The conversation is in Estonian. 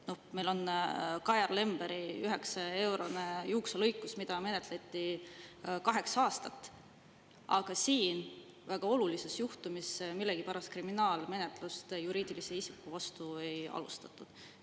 Noh, meil on Kajar Lemberi 9-eurone juukselõikus, mida menetleti kaheksa aastat, aga siin väga olulises juhtumis millegipärast kriminaalmenetlust juriidilise isiku vastu ei alustatud.